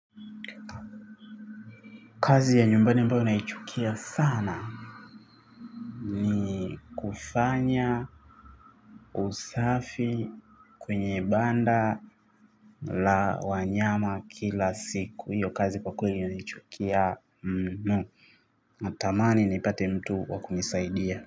Kazi ya nyumbani ambayo naichukia sana kufanya usafi kwenye banda la wanyama kila siku. Hiyo kazi kwa kweli naichukia natamani nipate mtu wa kunisaidia.